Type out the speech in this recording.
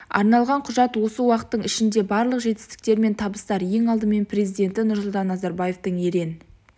арналған құжат осы уақыттың ішінде барлық жетістіктер мен табыстар ең алдымен президенті нұрсұлтан назарбаевтың ерен